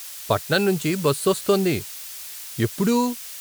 పట్నం నుంచి బస్సొస్తుంది. ఎప్పుడూ?